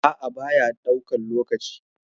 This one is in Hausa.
A'a, baya ɗaukan lokaci.